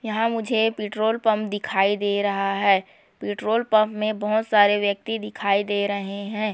यहाँ मुझे petrol pump दिखाई दे रहा है पेट्रोल पंप में बहुत सारे व्यक्ति दिखाई दे रहे हैं।